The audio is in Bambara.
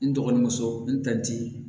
N dɔgɔnso n ta ti